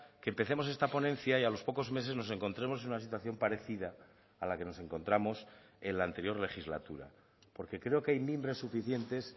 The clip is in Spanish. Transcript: que empecemos esta ponencia y a los pocos meses nos encontremos en una situación parecida a la que nos encontramos en la anterior legislatura porque creo que hay mimbres suficientes